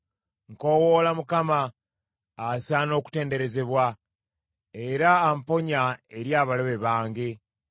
Nkoowoola Mukama asaana okutenderezebwa, era amponya eri abalabe bange.